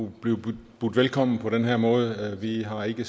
blive budt velkommen på den her måde vi har ikke